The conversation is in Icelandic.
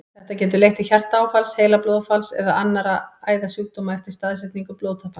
Þetta getur leitt til hjartaáfalls, heilablóðfalls eða annarra æðasjúkdóma eftir staðsetningu blóðtappans.